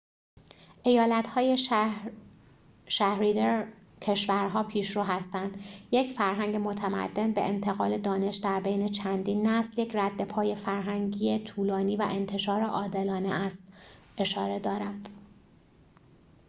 ایالت های شهریدر کشور‌ها پیشرو هستند یک فرهنگ متمدن به انتقال دانش در بین چندین نسل یک ردپای فرهنگی طولانی و انتشار عادلانه است اشاره دارد